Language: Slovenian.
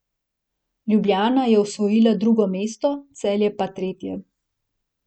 Ljubljana je osvojila drugo mesto, Celje pa tretje.